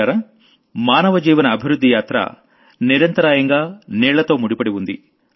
మిత్రులారా మానవ జీవన అభివృద్ధి యాత్రం నిరంతరాయంగా నీళ్లతో ముడిపడి ఉంది